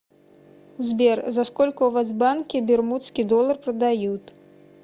сбер за сколько у вас в банке бермудский доллар продают